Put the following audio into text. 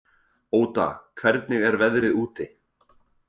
Óda, hvernig er veðrið úti?